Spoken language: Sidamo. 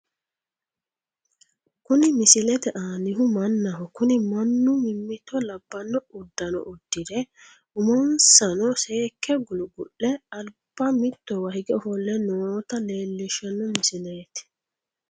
Kuni misilete annihu mannaho kuni manu mimmito labbanno uddano udfire umonsano seekke gulgu'le alba mittowa hige ofolle noota leellishshano misileeti.